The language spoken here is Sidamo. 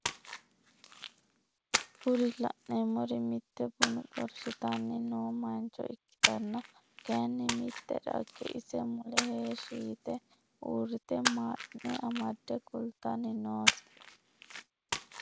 Kuri la'neemmori mitte buna xorshitanni noo mancho ikkitanna kayiinni mitte dagge ise mule heeshi yite uurite madhine amadde kalitanni noose.